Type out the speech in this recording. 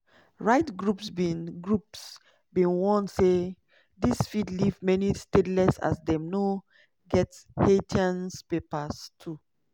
rights groups bin groups bin warn say dis fit leave many stateless as dem no get haitian papers too.